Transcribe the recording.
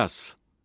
Miqyas.